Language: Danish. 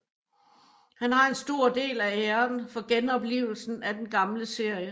Han har en stor del af æren for genoplivelsen af den gamle serie